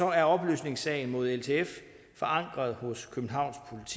er opløsningssagen mod ltf forankret hos københavns